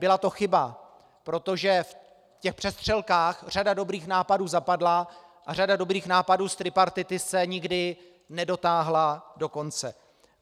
Byla to chyba, protože v těch přestřelkách řada dobrých nápadů zapadla a řada dobrých nápadů z tripartity se nikdy nedotáhla do konce.